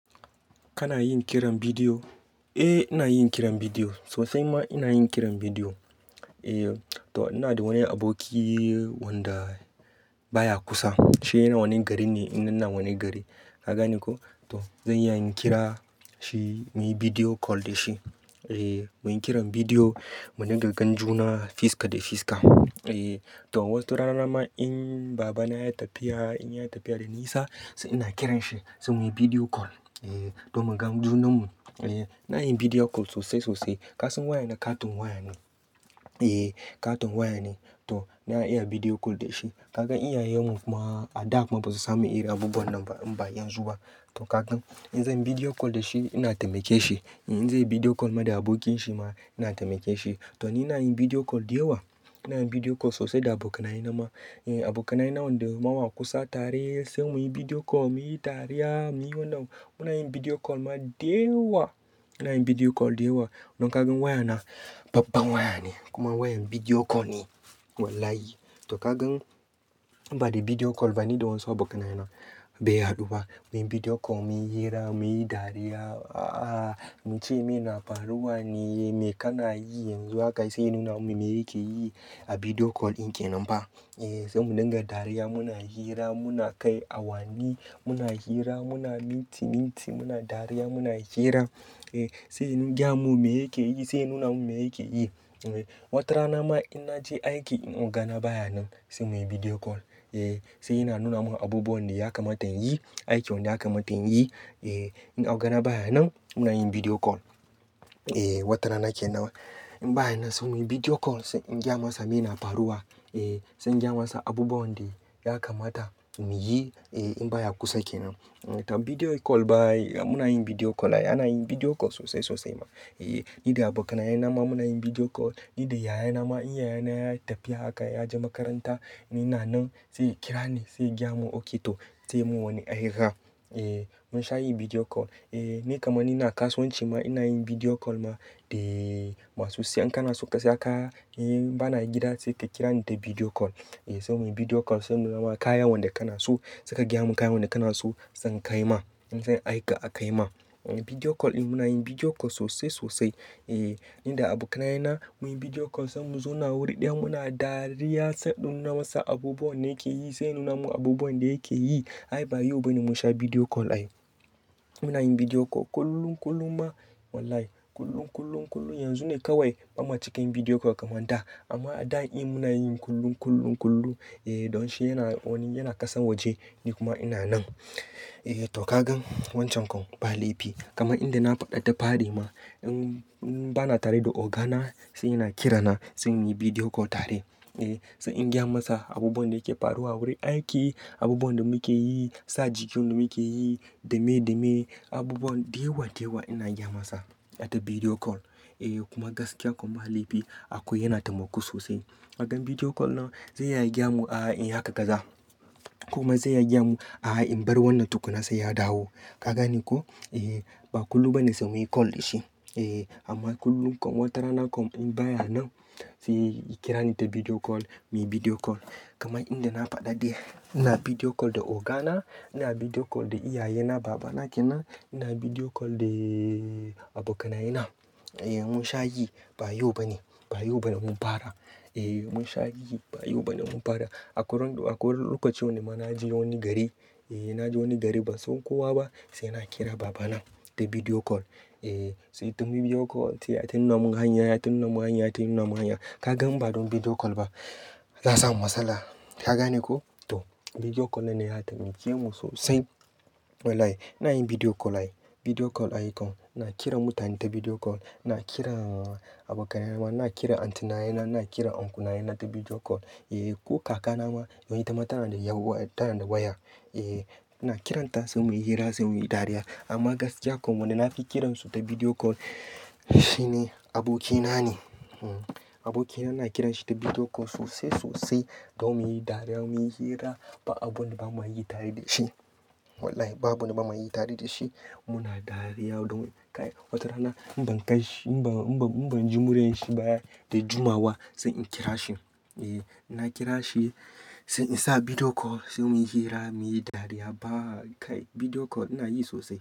Kana yin kiran bidiyo? Eh ina yin kiran bidiyo, sosai ma ina yin kiran bidiyo. To, ina da wani aboki wanda baya kusa. Shi yana wani gari ne, ina nan wani gari. Ka gane ko? To, zan iya in kira shi, muyi bidiyo kol da shi. Muyi kiran bidiyo, mu dinga gan junan fiska da fiska. To, wata rana ma in baba na yayi tafiya, in yayi tafiya da nisa sai ina kiran shi, sai muyi bidiyo kol domin gan junan mu. Eh, ina yin bidiyo kol sosai sosai. Kasan waya na katon waya ne. Eeh, katon waya ne. To, na iya bidiyo kol da shi. Kaga inyayen mu kuma a da kuma ba su samu irin abubuwan nan ba, in ba yazu ba. To kagan in zan yi bidiyo kol da shi ina taimake shi. In zai yi bidiyo kol ma da abokin shi ma ina taimake shi. To ni nayi bidiyo kol da yawa. Ina yin bidiyo kol sosai da abokanai na ma. Abokanai na wanda mawa kusa tare sai muyi bidiyo kol, muyi dari, muyi wannan. Muna yin bidiyo kol ma da yawa. Ina yin bidiyo kol da yawa. Don kagan waya na babba waya ne kuma wayar bidiyo kol ne. Wallahi. To kagan in ba da bidiyo kol ba ni da waso abokanai na, bai haɗu ba. Muyi bidiyo kol, muyi hira, muyi dariya. Muce "me na faruwa ne, me kana yi yanzu?" Haka sai ya nuna mun me yake yi a bidiyo kol dinkin kenan ba. Sai mu dinga dariya, muna hira, muna kai awanni, muna hira, muna minti minti, muna dariya, muna hira. Sai yayi gaya mun me yake yi, sai ya nuna mun me yake yi. Watarana ma in naje aiki in ogana baya nan sai muyi bidiyo kol. Sai yana nuna mun abubuwan da yake matan yi, aiki wanda yakamata inyi. In ogana baya nan muna yin bidiyo kol. Watarana kenan in baya nan sai muyi bidiyo kol sai in gaya masa me na faruwa. Sai in gaya masa abubuwa wanda ya kamata mu yi in baya kusa kenan. To bidiyo kol ba ai, muna yin bidiyo kol ai. Ana yin bidiyo kol sosai sosai ma. Ni da abokanaye na ma muna yin bidiyo kol. Ni da yayana ma in yayana yayi tafiya haka, ya je makaranta. Ni ina nan sai ya kira ni, sai ya gaya mun "ok to", sai mun wani hira. Mun sha yin bidiyo kol. Ni kaman ina kasuwanci ma ina yin bidiyo kol ma da masu saye. In kana so ka saya kaya, in bana gida sai ka kira ni ta bidiyo kol. Sai muyi bidiyo kol sai in nuna ma kaya wanda kana so. Sai ka gaya mun kayan wanda kana so, san kai ma. In zan aika a kai ma. Bidiyo kol din muna yin bidiyo kol sosai sosai. Ni da abokanai na muyi bidiyo kol sai mu zauna wuri ɗaya muna dariya. Sai in dun nuna masa abubuwan da yake yi sai ya nuna mun abubuwan da yake yi. Ai ba yau bane mun sha bidiyo kol ai. Muna yin bidiyo kol kullum kullum ma. Wallahi kullum, kullum, kullum. Yanzu ne kawai bamu cika yin bidiyo kol kamar da. Amma a da in muna yin kullum, kullum, kullum. Don shi yana, wani yana kasa waje ni kuma ina nan. To kagan wancan kom ba laifi. Kaman inda na faɗa da fari ma in, in bana tare da ogana sai yana kira na, sai muyi bidiyo kol tare. Sai in gaya masa abubuwan da yake faruwa wurin aiki, abubuwan da muke yi, sa jikin da muke yi, dame dame. Abubuwan da yawa, da yawa ina gaya masa ta bidiyo kol. Kuma gaskiya kom ba laifi akwai yana taimako sosai. Kagan bidiyo kol nan zai iya ya gaya mun "a'a in yi haka kaza". Kuma zai iya ya gaya mun "a'a in bar wannan tukuna sai ya dawo". Ka gane ko? Ehh. Ba kullum bane sai muyi kol da shi. Amma kullum kom, watarana kom in baya nan sai ya kira ni ta bidiyo kol, muyi bidiyo kol. Kaman inda na faɗa dai ina bidiyo kol da ogana, ina bidiyo kol da iyaye na, baba na kenan, ina bidiyo kol da abokanai na. Mun sha yi, ba yau bane. Ba yau bane mun fara. Eh mun sha yi, ba yau bane mun fara. Akwai ran da, a kwai wani lokacin da ma na je wani gari, na je wani gari ba san kowa ba sai na kira baba na da bidiyo kol. Sai ta bidiyo kol sai yata nuna mun hanya, yana ta nuna mun hanya, ya na ta nuna mun hanya. Kagan ba don bidiyo kol ba, za'a samu matsala. Ka gane ko? To, bidiyo kol nan ne ya taimake mu sosai. Wallahi ina yin bidiyo kol ai. Bidiyo kol ai kom. Na kira mutane ta bidiyo kol. Na kira abokanai na ma, ina kira aunty naye na, ina kira uncle naye na ta bidiyo kol. Ko kaka na ma don ita ma taba da yan uwa, ta na da waya. Eh. Eeh, ina kiranta sai muyi hira, sai muyi dariya. Amma gaskiya kom wanda na fi kiransu ta bidiyo kol shine aboki na ne. Aboki na, ina kiranshi ta bidiyo kol sosai sosai. Don muyi dariya, muyi hira. Ba abun da bama yi tare da shi. Wallahi ba abu da bama yi tare da shi. Muna dariya don kai wata rana in ban kai shi, in ban, in ban, in ban ji murenshi baya da jumawa sai in kira shi. Eeh ina kira shi sai in sa bidiyo kol sai muyi hira, muyi dariya. Ba kai bidiyo kol ina yi sosai.